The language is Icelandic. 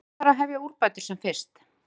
Hvar þarf að hefja úrbætur sem fyrst?